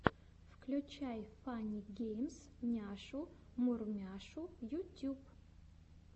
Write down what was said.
включай фанни геймс няшу мурмяшу ютюб